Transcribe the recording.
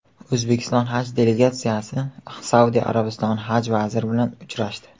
O‘zbekiston Haj delegatsiyasi Saudiya Arabistoni Haj vaziri bilan uchrashdi.